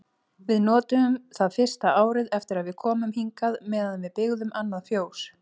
Við notuðum það fyrsta árið eftir að við komum hingað meðan við byggðum annað fjós.